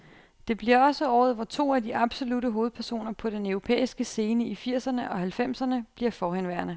Det bliver også året, hvor to af de absolutte hovedpersoner på den europæiske scene i firserne og halvfemserne bliver forhenværende.